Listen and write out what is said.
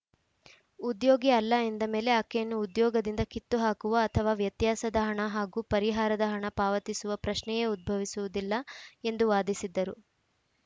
ಉದ್ಯೋಗಿ ಅಲ್ಲ ಎಂದ ಮೇಲೆ ಆಕೆಯನ್ನು ಉದ್ಯೋಗದಿಂದ ಕಿತ್ತುಹಾಕುವ ಅಥವಾ ವ್ಯತ್ಯಾಸದ ಹಣ ಹಾಗೂ ಪರಿಹಾರದ ಹಣ ಪಾವತಿಸುವ ಪ್ರಶ್ನೆಯೇ ಉದ್ಭವಿಸುವುದಿಲ್ಲ ಎಂದು ವಾದಿಸಿದ್ದರು